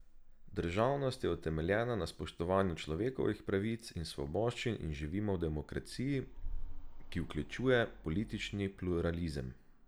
Državnost je utemeljena na spoštovanju človekovih pravic in svoboščin in živimo v demokraciji, ki vključuje politični pluralizem.